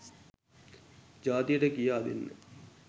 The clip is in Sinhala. ජාතියට කියා දෙන්න